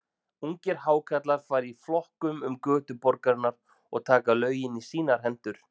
Ungir Hákarlar fara í flokkum um götur borgarinnar og taka lögin í sínar hendur.